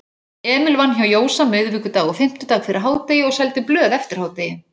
Emil vann hjá Jósa miðvikudag og fimmtudag fyrir hádegi og seldi blöð eftir hádegi.